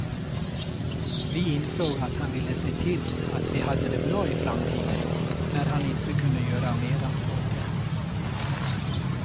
Vi insåg att han ville se till att vi hade det bra i framtiden, när han inte kunde göra mera åt det.